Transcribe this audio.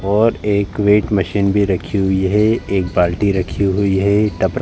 और एक weight machine भी रखी हुई है। एक बाल्टी रखी हुई हैं। टपरा --